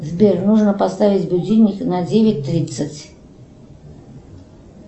сбер нужно поставить будильник на девять тридцать